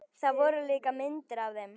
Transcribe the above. Það voru líka myndir af þeim.